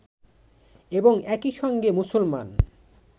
এবং একই সঙ্গে মুসলমান